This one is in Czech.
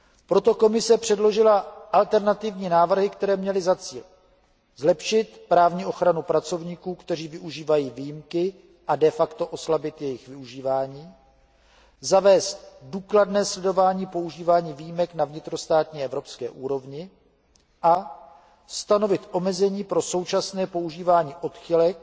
Proto Komise předložila alternativní návrhy, které měly za cíl zlepšit právní ochranu pracovníků, kteří využívají výjimky a de facto oslabit jejich využívání, zavést důkladné sledovaní používání výjimek na vnitrostátní a evropské úrovni a stanovit omezení pro současné používání odchylek,